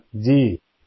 ہاں! جی ہاں ! سر